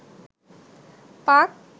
পাক